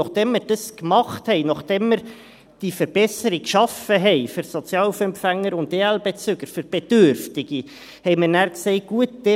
Und nachdem wir das gemacht haben, nachdem wir diese Verbesserung für Sozialhilfeempfänger und EL-Bezüger geschaffen haben, für Bedürftige, haben wir nachher gesagt: